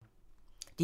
DR2